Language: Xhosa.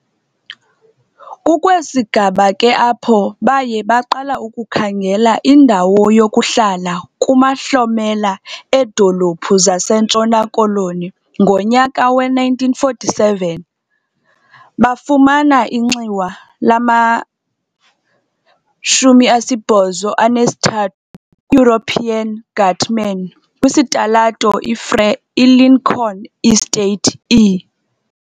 Kukwesi sigaba ke apho baye baqala ukukhangela indawo yokuhlala kumahlomela eedolophu zaseNtshona Koloni. Ngonyaka we-1947, bafumana inxiwa lama-83 "European" guttman, kwisitalato iFreur, iLincoln estate e.